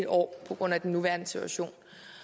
år på grund af den nuværende situation